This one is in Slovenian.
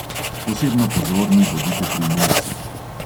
Posebno pozorni bodite pri mulcih.